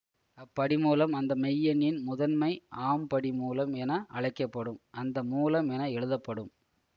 அப்படிமூலம் அந்த மெய்யெண்ணின் முதன்மை ஆம் படி மூலம் என அழைக்க படும் அந்த மூலம் என எழுதப்படும்